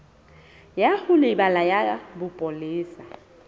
ya ho lebela ya bopolesa